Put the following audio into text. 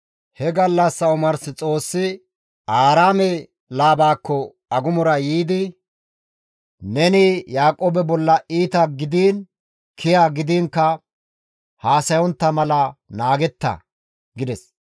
He gallassa omars Xoossi Aaraame Laabakko agumora yiidi, «Neni Yaaqoobe bolla iita gidiin kiya gidiinkka haasayontta mala naageeta!» gides.